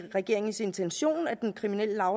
regeringens intention at den kriminelle